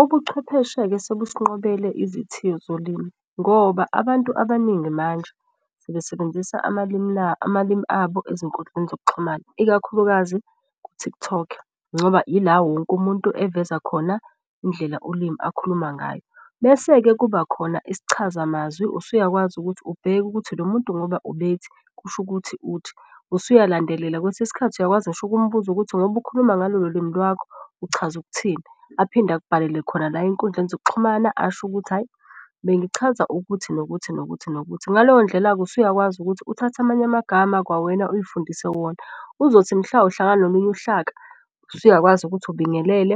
Ubuchwepheshe-ke sebusinqobele izithiyo zolimi ngoba abantu abaningi manje sebesebenzisa amalimi abo ezinkudleni zokuxhumana ikakhulukazi ku-TikTok. Ngoba ila wonke umuntu eveza khona indlela ulimi akhuluma ngayo. Bese-ke kuba khona isichazamazwi, usuyakwazi ukuthi ubheke ukuthi lo muntu ngoba ubethi kusho ukuthi uthi usuya landelela. Kwesinye isikhathi uyakwazi ngisho ukumbuza ukuthi ngoba ukhuluma ngalolo limi lwakho uchaza ukuthini. Aphinde akubhalele khona la ey'nkundleni zokuxhumana asho ukuthi, hhayi bengichaza ukuthi nokuthi nokuthi nokuthi. Ngaleyo ndlela-ke usuyakwazi ukuthi uthathe amanye amagama kwawena uy'fundise wona, uzothi mhla uhlangana nolunye uhlaka usuyakwazi ukuthi ubingelele